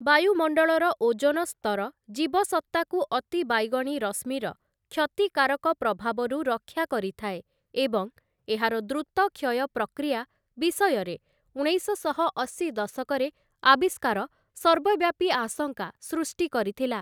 ବାୟୁମଣ୍ଡଳର ଓଜୋନ ସ୍ତର ଜୀବସତ୍ତାକୁ ଅତିବାଇଗଣି ରଶ୍ମିର କ୍ଷତିକାରକ ପ୍ରଭାବରୁ ରକ୍ଷା କରିଥାଏ ଏବଂ ଏହାର ଦ୍ରୁତ କ୍ଷୟପ୍ରକ୍ରିୟା ବିଷୟରେ ଉଣେଇଶଶହ ଅଶୀ ଦଶକରେ ଆବିଷ୍କାର ସର୍ବବ୍ୟାପୀ ଆଶଙ୍କା ସୃଷ୍ଟି କରିଥିଲା ।